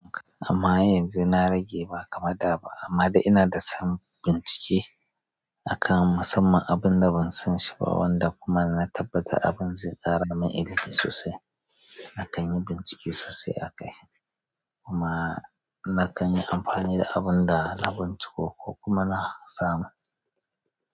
Amma yanzu na rage ba kamar da ba, amma da ina da son bincike a kan musamman abin da ban san shi ba wanda kuma na tabbata abin zai ƙara min ilimi sosai. Na kan yi bincike sosai a kai kuma na kan yi amfani da abin da na binciko ko kuma na sama.